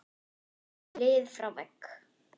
lið frá vegg?